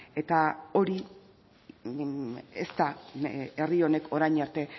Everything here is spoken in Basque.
eta hori ez da herri honek orain arte